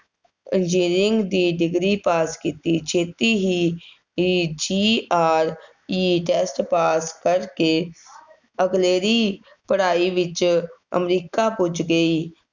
engineering ਦੀ degree pass ਕੀਤੀ, ਛੇਤੀ ਹੀ GRE test pass ਕਰਕੇ ਅਗਲੇਰੀ ਪੜ੍ਹਾਈ ਵਿੱਚ ਅਮਰੀਕਾ ਪੁੱਜ ਗਈ,